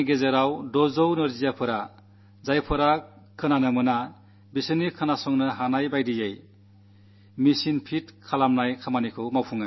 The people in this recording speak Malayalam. എട്ടു മണിക്കൂറിനുള്ളിൽ അറുനൂറ് ദിവ്യാംഗരായ ആളുകൾക്ക് കേൾക്കാനാകാത്തവർക്ക്മെഷീനുകളേകുന്നതിനു സാധിച്ചു